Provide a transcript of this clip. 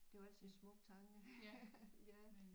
Det var ellers en smuk tanke ja